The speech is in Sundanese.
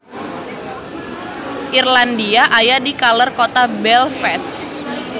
Irlandia aya di kaler kota Belfast